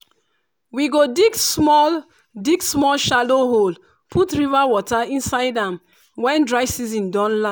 we go dig small dig small shallow hole put river water inside am when dry season don land.